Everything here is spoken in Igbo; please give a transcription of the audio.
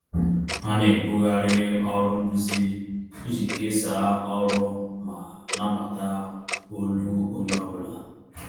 Ha na-ebugharị ọrụ nduzi iji kesaa ọrụ ma nabata olu onye ọ bụla